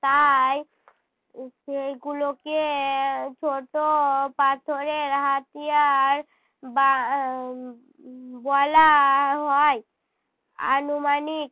তাই উম সেই গুলোকে ছোট পাথরের হাতিয়ার বা~ উহ বলা হয়। আনুমানিক